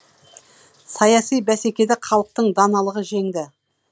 саяси бәсекеде халықтың даналығы жеңді